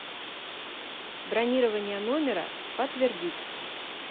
бронирование номера подтвердить